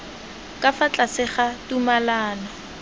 ka fa tlase ga tumalano